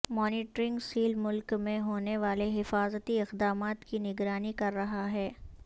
monitoring cell ملک میں ہونے والے حفاظتی اقدامات کی نگرانی کر رہا ہے